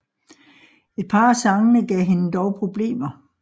Et par af sangene gav hende dog problemer